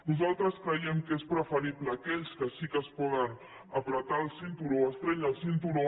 nosaltres creiem que és preferible aquells que sí que es poden estrènyer el cinturó